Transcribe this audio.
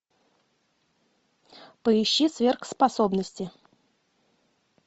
поищи сверхспособности